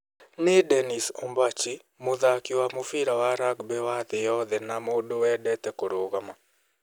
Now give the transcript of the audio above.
Nĩĩ nĩ Dennis Ombachi, mũthaaki wa mũbira wa rugby wa thĩ yothe na mũndũ wendete kũrũgama.